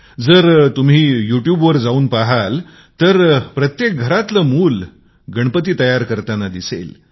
जर तुम्ही YouTube पहाल तर प्रत्येक घरातील मुल गणपती बनवत आहे